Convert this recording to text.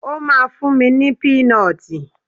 Ó ma fún mi ní pínọtì.